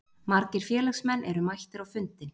Margir félagsmenn eru mættir á fundinn